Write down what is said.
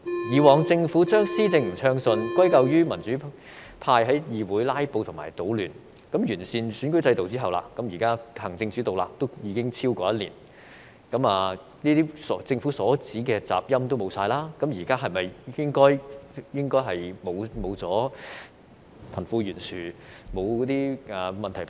以往政府將施政不暢順，歸咎於民主派在議會"拉布"和搗亂，那麼完善選舉制度後，現在行政主導已超過一年，政府所指的"雜音"已經消失，現在是否應已沒有貧富懸殊，沒有這些問題發生？